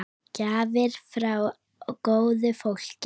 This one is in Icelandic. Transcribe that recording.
Gjafir frá góðu fólki.